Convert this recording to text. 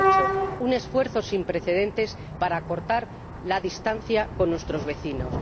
2008 un esfuerzo sin precedentes para acortar la distancia con nuestros vecinos.